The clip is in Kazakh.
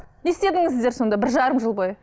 не істедіңіздер сонда бір жарым жыл бойы